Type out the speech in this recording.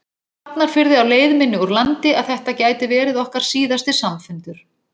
Hafnarfirði á leið minni úr landi að þetta gæti verið okkar síðasti samfundur.